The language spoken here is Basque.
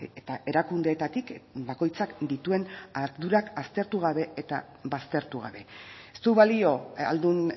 eta erakundeetatik bakoitzak dituen ardurak aztertu gabe eta baztertu gabe ez du balio ahaldun